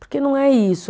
Porque não é isso.